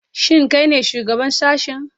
Shin kai ne shugaban sashen?